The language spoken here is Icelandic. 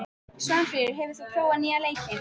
Svanfríður, hefur þú prófað nýja leikinn?